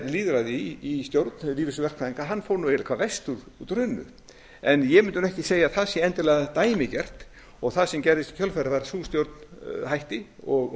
lýðræði í stjórn lífeyrissjóðs verkfræðinga fór eiginlega hvað verst út úr hruninu en ég mundi ekki segja að það sé endilega dæmigert og það sem gerðist í kjölfarið var að sú stjórn hætti og